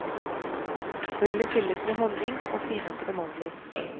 Hullet fylles med honning og finhakkede mandler.